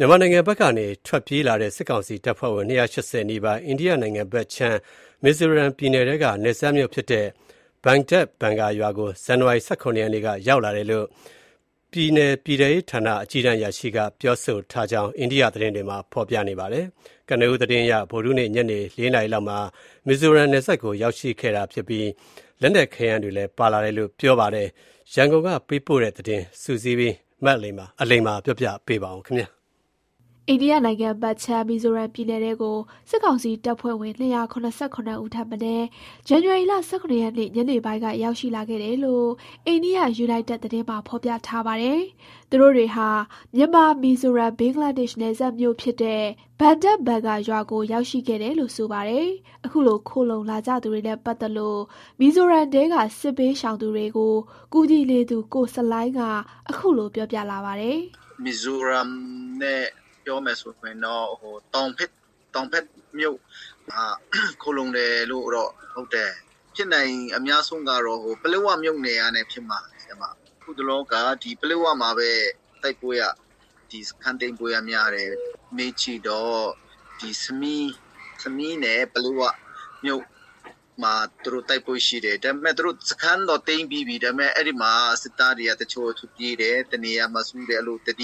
မြန်မာနိုင်ငံ ဘက်ကထွက်ပြေးလာတဲ့စစ်ကောင်စီတပ်ဖွဲ့ဝင် ၂၈၀ နီးပါး၊ အိန္ဒိယနိုင်ငံဘက်ခြမ်းမီဇိုရမ်ပြည်နယ်ထဲက နယ်စပ်မြို့ ဖြစ်တဲ့၊ ဘန်ဒက် ဘန်ဂါရွာကို ဇန်နဝါရီ ၁၇ ရက်က ရောက်လာတယ်လို့ ပြည်နယ်ပြည်ထဲရေးဌာန အကြီးတန်းအရာရှိကပြောဆိုထားကြောင်း အိန္ဒိယ သတင်းဌာနတွေမှာဖော်ပြပါတယ်။ ကနဦးသတင်းအရဗုဒ္ဓဟူးနေ့ ညနေ ၄ နာရီလောက်မှာ မီဇိုရမ် နယ်စပ်မြို့ကိုရောက်ရှိခဲ့တာဖြစ်ပြီးလက်နက်ခဲယမ်းတွေလည်း ပါလာတယ်လို့ ပြောပါတယ်။ ရန်ကုန်က စုစည်းတင်ပြထားတဲ့ သတင်းကို မအလိမ္မာ ကပြောပြမှာပါ။ မီဇိုရမ်ပြည်နယ်ထဲကို စစ်ကောင်စီတပ်ဖွဲ့၀င် ၂၇၇ ဦးထက်မနည်း ဇန်နဝါရီလ ၁၇ ရက်နေ့ ညနေပိုင်းကရောက်ရှိလာခဲ့တယ်လို့ အိန္ဒိယယူနိုက်တက်သတင်းမှာ ဖော်ပြထားပါတယ်။ သူတို့တွေဟာ မြန်မာ-မီဇိုရမ်-ဘင်္ဂလားဒေရှ် နယ်စပ်မြို့ဖြစ်တဲ့ ဘန်ဒက်ဘန်ဂါရွာကို ရောက်ရှိခဲ့တယ်လို့ ဆိုပါတယ်။ အခုလို ခိုလှုံလာကြသူတွေနဲ့ ပတ်သတ်လို့ မီဇိုရမ်ထဲက စစ်ဘေးရှောင်ပြည်သူတွေ ကိုကူညီနေသူ ကို ဆလိုင်းက ခုလိုပြောပြ လာပါတယ်။ "မီဇိုရမ်နဲ့ပြောမယ်ဆိုရင်တော့ တောင်ဘက်နားမြို့မှာ ခိုလှုံတာဟုတ်တယ်။ ဖြစ်နိုင်တာအများဆုံးကတော့ ပလက်ဝမြို့နယ်ဘက်ကဘဲဖြစ်မှာ။ အခုတလောက ဒီပလက်ဝမှာဘဲ တိုက်ပွဲစခန်းသိမ်းပွဲကများတယ်။ မေးကြည့်တော့ ခမီးနဲ့ပလက်ဝ မြို့ နား မှာတိုက်ပွဲတော့ရှိတယ်။ သူတို့စခန်းတော့သိမ်းပြီးပြီ စစ်သားတွေကတနေရာစုတယ်။ ထွက်ပြေးတယ်သတ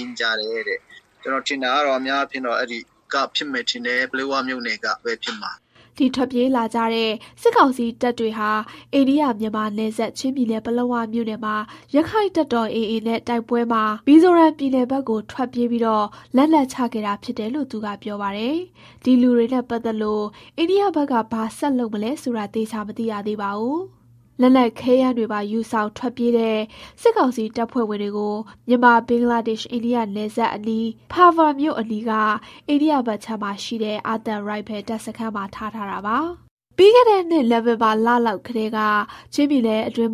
င်းကြားတယ်။ ကျနော်ထင်တာက တော့အဲကဘဲဖြစ်မယ်ထင်တယ်။ ပလက်ဝမြို့နယ်ဘက်ကဘဲဖြစ်မှာ။" ဒီထွက်ပြေးလာတဲ့ စစ်ကောင်စီတပ်တွေဟာ အိန္ဒိယ-မြန်မာနယ်စပ် ချင်းပြည်နယ်၊ ပလက်ဝမြို့နယ်မှာ ရက္ခိုင့်တပ်တော် နဲ့ တိုက်ပွဲမှာ မီဇိုရမ်ပြည်နယ်ဘက်ကို ထွက်ပြေးကာလက်နက်ချခဲ့တာဖြစ်တယ်လို့ သူကပြောပါတယ်။ ဒီလူတွေနဲ့ပတ်သတ်လို့ အိန္ဒိယဘက်က ဘာဆက် လုပ်မလဲဆိုတာ သေချာမသိရသေးပါဘူး။လက်နက်ခဲယမ်းတွေပါ ယူဆောင်ထွက်ပြေးတဲ့ စစ်ကောင်စီတပ်ဖွဲ့ဝင်တွေကို မြန်မာ-ဘင်္ဂလားဒေ့ရှ်-အိန္ဒိယ နယ်စပ်အနီး Parva အနီးက အိန္ဒိယဘက်ခြမ်းမှာရှိတဲ့ အာသံရိုင်ဖယ် တပ်စခန်းမှာ ထား ထားတာပါ။ ပြီးခဲ့တဲ့ နှစ် နိုဝင်ဘာလောက်ကထဲက ချင်းပြည်နယ်တွင်း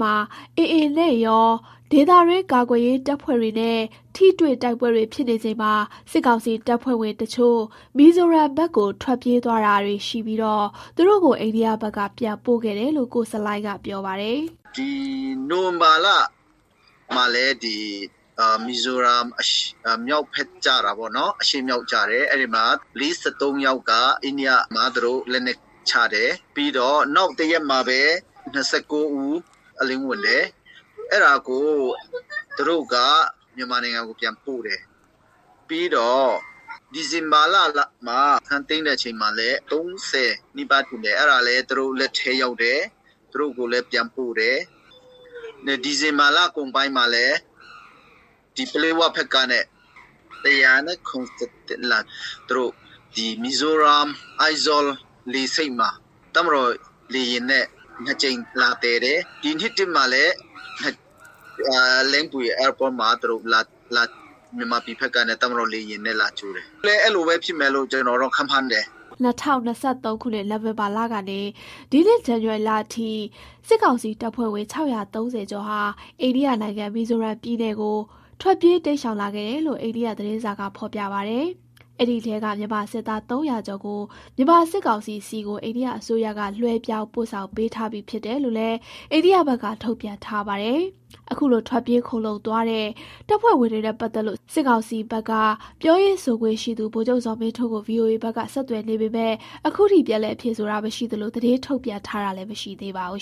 AA နဲ့ရော ဒေသတွင်း ကာကွယ်ရေးတပ်ဖွဲ့တွေနဲ့ ထိတွေ့တိုက်ပွဲတွေ ဖြစ်နေချိန်မှာ စစ်ကောင်စီတပ်ဖွဲ့ဝင်တချို့ မီဇိုရမ်ဘက်ကို ထွက်ပြေးသွားတာတွေရှိပြီး သူတို့ကို အိန္ဒိယဘက်က ပြန်ပို့ခဲ့တယ်လို့ ကို ဆလိုင်းကပြောပါတယ်။ "နိုဝင်ဘာလမှာလည်း မီဇိုရမ်မြောက်ဘက်ကျတာပေါ့ အရှေ့မြောက်ပေါ့ အဲမှာ ၄၃ယောက်က အိန္ဒိယဘက်မှာ လက်နက်ချတယ်။ နောက်တရက်မှာဘဲ ၂၉ဦး အလင်းဝင်တယ် သူတို့ကမြန်မာနိုင်ငံကိုပြန်ပို့တယ်။ နောက်ဒီဇင်ဘာ စခန်းသိမ်းတာတွေမှာ လည်း ၃၀ကျော်သူတို့လက်ထဲရောက်တယ် သူတို့ပြန်ပို့တယ်။ ဒီဇင်ဘာလကုန်ပိုင်းမှာဒီပလက်ဝဘက်ကနဲ့ ၁၇၁လား ဒီမီဇိုရမ် အိုက်ဇောလေ ဆိပ်မှာ တပ်မတော်လေယာဉ်နဲ့ ၂ကြိမ်လာသယ်တယ်.။ ဒီနှစ်ထဲမှာဘဲ Lengpui လေဆိပ်ကနေမြန်မာပြည်ဘက်က တပ်မတော်လေယာဉ်နဲ့ လာကြိုတယ်။ ခုလဲအဲလိုဖြစ်မယ်လို့ ကျနော်တော့ခန့်မှန်းတယ်။" ၂ဝ၂၃ ခုနှစ် နိုဝင်ဘာလကနေ ဒီနှစ် ဇန်နဝါရီထိ စစ်ကောင်စီတပ်ဖွဲ့ဝင် ၆၃၀ ကျော်ဟာ အိန္ဒိယနိုင်ငံ၊ မီဇိုရမ်ပြည်နယ်ကို ထွက်ပြေးတိမ်းရှောင်လာခဲ့တယ် လို့ အိန္ဒိယသတင်းစာကဖော်ပြပါတယ်။ အဲဒီထဲက မြန်မာစစ်သား ၃၀၀ကျော်ကို မြန်မာစစ်ကောင်စီဆီကို အိန္ဒိယအစိုးရက လွှဲပြောင်းပို့ဆောင်ပေးထားပြီးဖြစ်တယ်လို့လည်း အိန္ဒိယဘက်ကထုတ်ပြန်ထားတာပါ။ အခုလို ထွက်ပြေးခိုလှုံသွားတဲ့ တပ်ဖွဲ့ဝင်တွေနဲ့ပတ်သတ်လို့ စစ်ကောင်စီ ပြောရေးဆိုခွင့်ရှိသူ ဗိုလ်ချုပ်ဇော်မင်းထွန်းကိုဗွီအိုအေက ဆက်သွယ်နေပေမဲ့ ခုထိပြန်လည်ဖြေဆိုတာမရှိသလို သတင်းထုတ်ပြန်ထားတာလည်းမရှိသေးပါဘူး